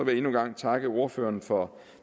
jeg endnu en gang takke ordførerne for